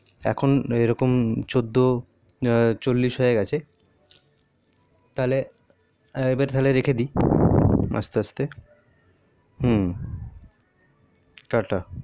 এখন এই রকম চোদ্দো চল্লিশ হয়ে গেছে তালে এবার তালে রেখেদি আস্তে আস্তে হু টা টা